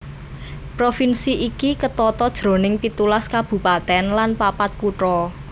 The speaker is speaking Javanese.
Provinsi iki ketata jroning pitulas kabupatèn lan papat kutha